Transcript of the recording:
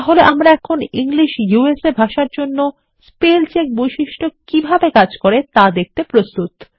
তাহলেআমরা এখন English USA ভাষার জন্য স্পেল চেক বৈশিষ্ট্য কিভাবে কাজ করে তা দেখতে প্রস্তুত